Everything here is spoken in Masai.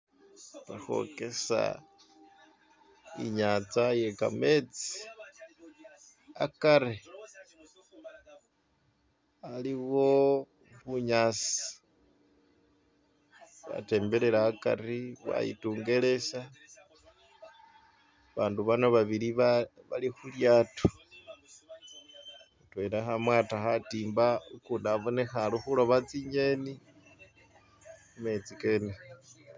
Ikhwokesa inyanza i'ye kametsi akari aliwo bunyasi bwatembelela akari, bwayitungelesa, abandu bano babili bali khulyato mutwela ali khumwata khatimba, ukundi kha loba tsi'ngeni mumetsi kene.